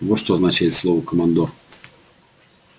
вот что означает слово командор